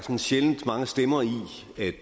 det